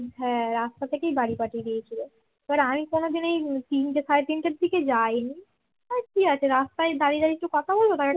হ্যাঁ রাস্তা থেকেই বাড়ি পাঠিয়ে দিয়েছিল এবার আমি কোনদিন এই তিনটে সাড়ে তিনটের দিকে যায়নি আচ্ছা ঠিক আছে রাস্তায় দাড়িয়ে দাড়িয়ে কি কথা বলব